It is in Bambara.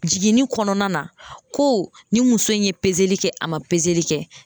Jiginni kɔnɔna na ko ni muso in ye peseli kɛ a ma peseli kɛ.